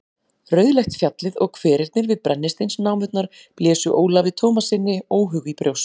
Rauðleitt fjallið og hverirnir við brennisteinsnámurnar blésu Ólafi Tómassyni óhug í brjóst.